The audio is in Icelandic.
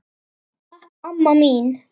Takk amma mín.